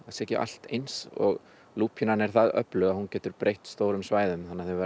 sé ekki allt eins lúpínan er það öflug að hún getur breytt stórum svæðum þannig að þau verða